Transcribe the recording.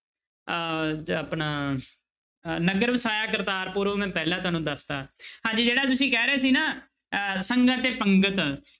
ਅਹ ਆਪਣਾ ਅਹ ਨਗਰ ਵਸਾਇਆ ਕਰਤਾਰਪੁਰ ਉਹ ਮੈਂ ਪਹਿਲਾਂ ਤੁਹਾਨੂੰ ਦੱਸ ਦਿੱਤਾ ਹਾਂਜੀ ਜਿਹੜਾ ਤੁਸੀਂ ਕਹਿ ਰਹੇ ਸੀ ਨਾ ਅਹ ਸੰਗਤ ਤੇ ਪੰਗਤ